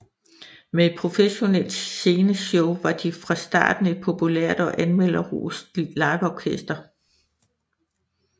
Med et professionelt sceneshow var de fra starten et populært og anmelderrost liveorkester